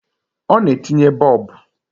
Ọ na-etinye Boobu